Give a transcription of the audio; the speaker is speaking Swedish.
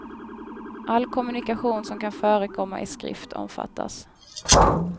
All kommunikation som kan förekomma i skrift omfattas.